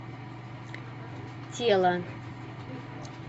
тело